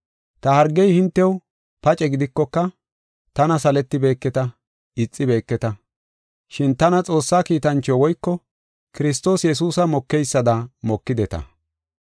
Ta hargey hintew paace gidikoka, tana saletibeketa; ixibeketa. Shin tana Xoossaa kiitancho woyko Kiristoos Yesuusa mokeysada mokideta.